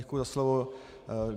Děkuji za slovo.